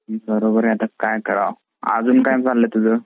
ती बरोबर आहे आता काय करावं. अजून काय चालल तुझ?